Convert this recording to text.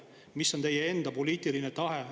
Mis on teie enda poliitiline tahe?